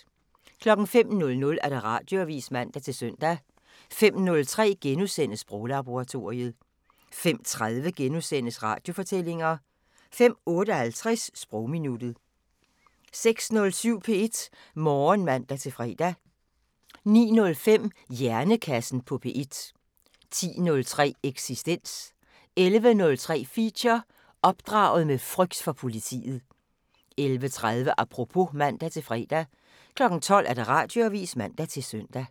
05:00: Radioavisen (man-søn) 05:03: Sproglaboratoriet * 05:30: Radiofortællinger * 05:58: Sprogminuttet 06:07: P1 Morgen (man-fre) 09:05: Hjernekassen på P1 10:03: Eksistens 11:03: Feature: Opdraget med frygt for politiet 11:30: Apropos (man-fre) 12:00: Radioavisen (man-søn)